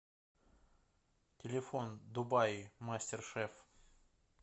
телефон дубаи мастер шеф